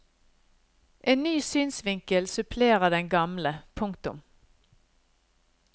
En ny synsvinkel supplerer den gamle. punktum